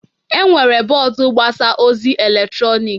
Enwere bọọdụ mgbasa ozi eletrọnịkị